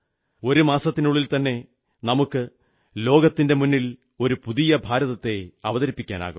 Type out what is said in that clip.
ഒരു മാസത്തിനുള്ളിൽത്തന്നെ നമുക്ക് ലോകത്തിന്റെ മുന്നിൽ ഒരു പുതിയ ഭാരതത്തെ അവതരിപ്പിക്കാനാകും